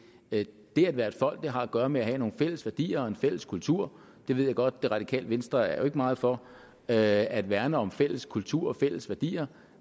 at være et folk har at gøre med at have nogle fælles værdier og en fælles kultur jeg ved godt at det radikale venstre ikke er meget for at at værne om en fælles kultur og fælles værdier